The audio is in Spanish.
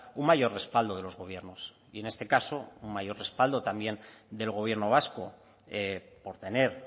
un mayor respaldo de los gobiernos y en este caso un mayor respaldo también del gobierno vasco por tener